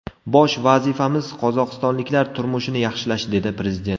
Bosh vazifamiz qozog‘istonliklar turmushini yaxshilash”, dedi prezident.